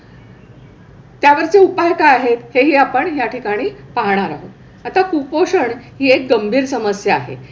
त्यावरचे उपाय काय आहेत तेही आपण ह्या ठिकाणी पाहणार आहोत. आता कुपोषण हि एक गंभीर समस्या आहे.